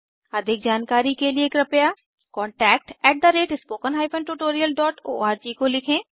अधिक जानकारी के लिए कृपया contactspoken tutorialorg को लिखें